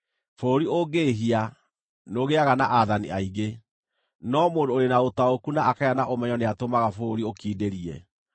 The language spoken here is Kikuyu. Bũrũri ũngĩĩhia, nĩũgĩaga na aathani aingĩ, no mũndũ ũrĩ na ũtaũku na akagĩa na ũmenyo nĩatũmaga bũrũri ũkindĩrie.